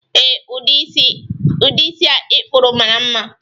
Ee, udi isi a i kpụrụ mara mma